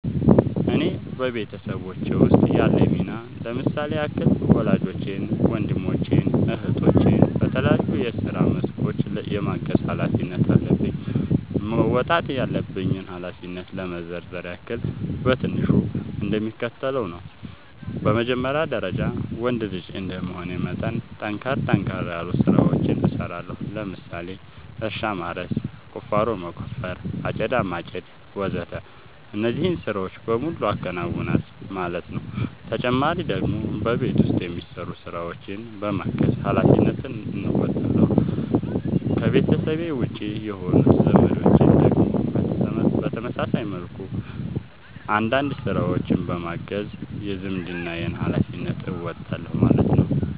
እኔ በቤተሰቦቼ ውስጥ ያለኝ ሚና ለምሳሌ ያክል ወላጆቼን ወንድሞቼን እህቶቼን በተለያዩ የስራ መስኮች የማገዝ ኃላፊነት አለብኝ። መወጣት ያለብኝን ኃላፊነት ለመዘርዘር ያክል በትንሹ እንደሚከተለው ነው በመጀመሪያ ደረጃ ወንድ ልጅ እንደመሆኔ መጠን ጠንከር ጠንከር ያሉ ስራዎችን እሰራለሁ ለምሳሌ እርሻ ማረስ፣ ቁፋሮ መቆፈር፣ አጨዳ ማጨድ ወዘተ እነዚህን ስራዎች በሙሉ አከናውናል ማለት ነው ተጨማሪ ደግሞ በቤት ውስጥ የሚሰሩ ስራዎችን በማገዝ ሃላፊነትን እንወጣለሁ። ከቤተሰቤ ውጪ የሆኑት ዘመዶቼን ደግሞ በተመሳሳይ መልኩ አንዳንድ ስራዎችን በማገዝ የዝምድናዬን ሀላፊነት እወጣለሁ ማለት ነው